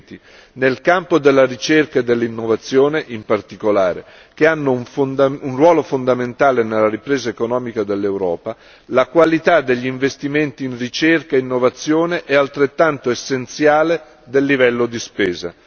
2020. Nel campo della ricerca e dell'innovazione, in particolare, che hanno un ruolo fondamentale nella ripresa economica dell'Europa, la qualità degli investimenti in ricerca e innovazione è altrettanto essenziale del livello di spesa.